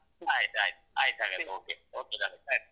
ಆಯ್ತಾಯ್ತು ಆಯ್ತ್ ಹಾಗಾದ್ರೆ okay